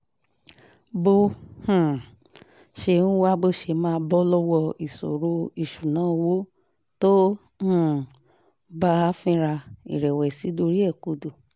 bó um ṣe ń wá bó ṣe máa bọ́ lọ́wọ́ ìṣòro ìṣúnná owó tó um ń bá a fínra ìrẹ̀wẹ̀sì dorí ẹ̀ kodò